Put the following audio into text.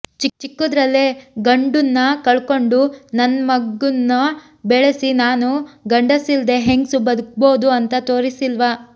ಚಿಕ್ಕುದ್ರಲ್ಲೇ ಗಂಡುನ್ನ ಕಳಕಂಡು ನನ್ಮಗುನ್ನ ಬೆಳಿಸಿ ನಾನು ಗಂಡಸಿಲ್ದೆ ಹೆಂಗ್ಸು ಬದುಕ್ಬೋದು ಅಂತ ತೋರಸಿಲ್ವಾ